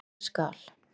Það skal